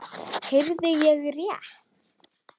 Heyrði ég rétt.